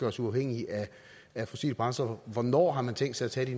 os uafhængige af fossile brændstoffer hvornår har man tænkt sig at tage de